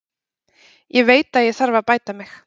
Ég veit að ég þarf að bæta mig.